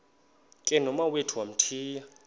ke nomawethu wamthiya